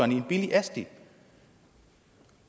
i en billig asti